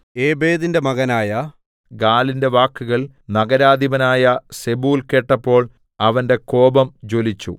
ഏബേദിന്റെ മകനായ ഗാലിന്റെ വാക്കുകൾ നഗരാധിപനായ സെബൂൽ കേട്ടപ്പോൾ അവന്റെ കോപം ജ്വലിച്ചു